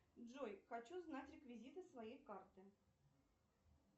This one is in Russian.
джой хочу знать реквизиты своей карты